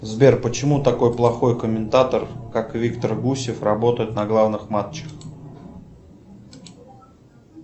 сбер почему такой плохой комментатор как виктор гусев работает на главных матчах